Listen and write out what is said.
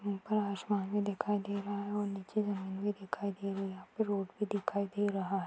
ऊपर आशमान भी दिखाई दे रहा है और नीचे जमीन भी दिखाई दे रही है यहां पे रोड भी दिखाई दे रहा है|